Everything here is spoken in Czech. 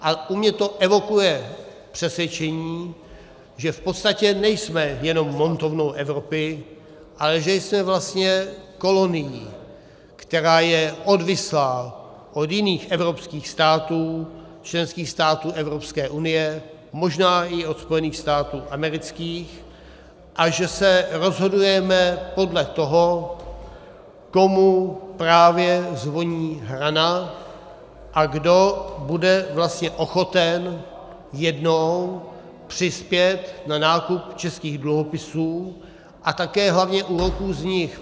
A u mě to evokuje přesvědčení, že v podstatě nejsme jenom montovnou Evropy, ale že jsme vlastně kolonií, která je odvislá od jiných evropských států, členských států Evropské unie, možná i od Spojených států amerických, a že se rozhodujeme podle toho, komu právě zvoní hrana a kdo bude vlastně ochoten jednou přispět na nákup českých dluhopisů, a také hlavně úroků z nich.